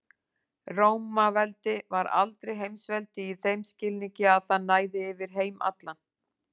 Rómaveldi var aldrei heimsveldi í þeim skilningi að það næði yfir heim allan.